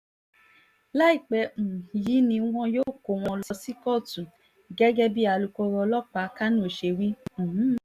láìpẹ́ um yìí ni wọn yóò kó wọn lọ sí kóòtù gẹ́gẹ́ bíi alūkkóró ọlọ́pàá kánò ṣe wí um